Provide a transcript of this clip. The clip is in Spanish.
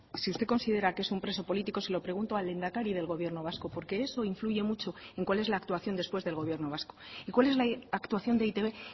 si usted considera que es un preso político se lo pregunto al lehendakari del gobierno vasco porque eso influye mucho en cuál es la actuación después del gobierno vasco y cuál es la actuación de e i te be